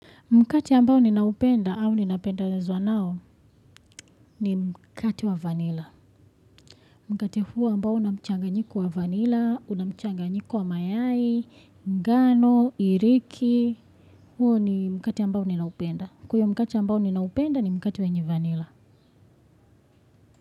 Mkate ambao ninaupenda au ninapendazwa nao ni mkate wa vanilla. Mkate huo ambao una mchanganyiko wa vanilla, una mchanganyiko wa mayai, ngano, iriki. Huo ni mkate ambao ninaupenda. Kwa hio mkate ambao ninaupenda ni mkat wenye vanilla.